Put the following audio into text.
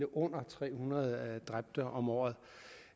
under tre hundrede dræbte om året